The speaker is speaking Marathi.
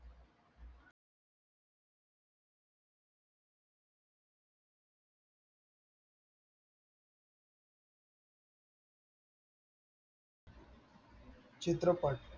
चित्रपट